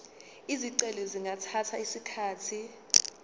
izicelo zingathatha isikhathi